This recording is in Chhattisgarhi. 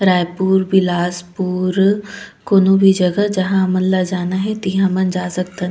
रायपुर बिलासपुर कोनो भी जगह जहाँ हमन ला जाना हे तिहा हमन जा सकथन --